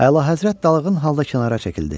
Əlahəzrət dalğın halda kənara çəkildi.